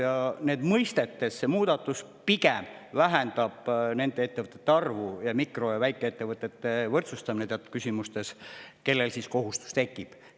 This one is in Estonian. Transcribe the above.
Ja mõistetes see muudatus pigem vähendab nende ettevõtete arvu, teatud puhkudel võrdsustatakse mikro- ja väikeettevõtted, kellel see kohustus tekib.